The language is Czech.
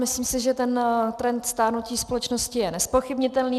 Myslím si, že ten trend stárnutí společnosti je nezpochybnitelný.